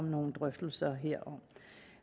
i nogle drøftelser herom